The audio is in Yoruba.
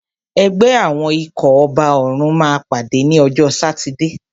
Ẹgbẹ́ àwọn ikọ̀ ọba òrùn máa pàdé ní ọjọ́ sátidé.